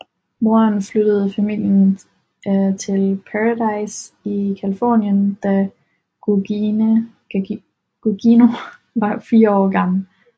Moren flyttede familien til Paradise i Californien da Gugino var fire år gammel